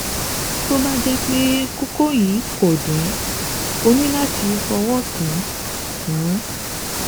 Tó bá jẹ́ pé kókó yìí kò dùn ẹ́, o ní láti fọwọ́ kàn án kàn án